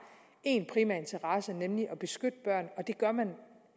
en primær interesse nemlig at beskytte børn og det gør man